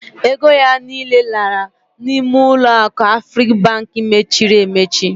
Ego ya niile lara n'ime uloaku Afribank mechiri emechi.